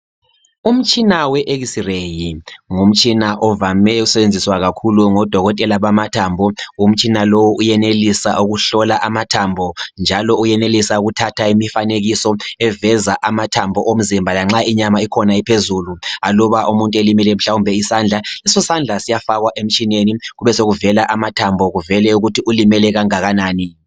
Umtshina we X-RAY ngumtshina ovame ukusetshenziswa kakhulu ngodokotela bamathambo. Umtshina lowu uyenelisa ukuhlola amathambo njalo uyakhona ukuthatha imifanekiso eveza amathambo lanxa inyama ikhona iphezulu. Umuntu mhlawumbe elimele isandla, lesosandla siyafakwa emtshineni kubesokuvela amathambo kuvele ukuthi ulimele kangakanani.